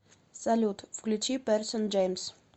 салют включи пэрсон джеймс